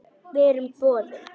Við erum boðin.